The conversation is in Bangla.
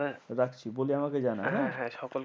রাখছি। বলে আমাকে জানাস হ্যাঁ? হ্যাঁ হ্যাঁ